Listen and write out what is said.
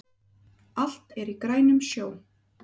Allt er í grænum sjó